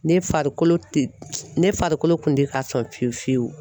Ne farikolo te ne farikolo kun ti ka sɔn fiye fiyewu.